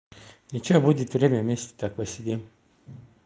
ничего будет время вместе так посидим